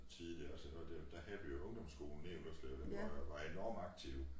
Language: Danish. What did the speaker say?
Tid dér og sådan noget dér da havde vi jo ungdomsskolen nede i Ullerslev den var jo var enormt aktiv